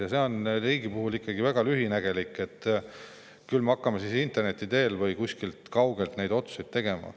Ja see on riigi puhul ikkagi väga lühinägelik, et küll me hakkame interneti teel või kuidagi kaugelt neid otsuseid tegema.